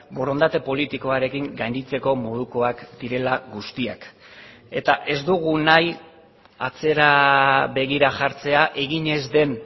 borondate politikoarekin gainditzeko modukoak direla guztiak eta ez dugu nahi atzera begira jartzea egin ez den